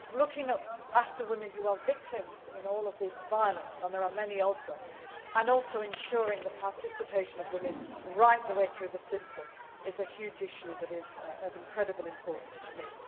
Looking after women who are victims in all of this violence and there are many of them and also ensuring the participation of women right the way through the system is a huge issue that is of incredible importance to